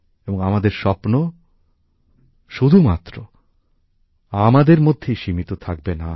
এবং আমাদের স্বপ্ন শুধুমাত্র আমাদের মধ্যেই সীমিত থাকবে না